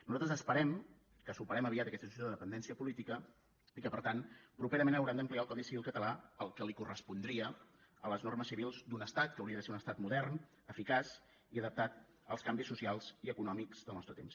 nosaltres esperem que superem aviat aquesta situació de dependència política i que per tant properament haurem d’ampliar el codi civil català el que li correspondria a les normes civils d’un estat que hauria de ser un estat modern eficaç i adaptat als canvis socials i econòmics del nostre temps